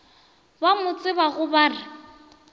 ba mo tsebago ba re